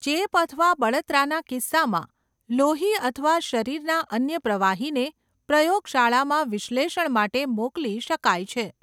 ચેપ અથવા બળતરાના કિસ્સામાં, લોહી અથવા શરીરના અન્ય પ્રવાહીને પ્રયોગશાળામાં વિશ્લેષણ માટે મોકલી શકાય છે.